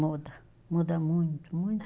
Muda muda muito, muito,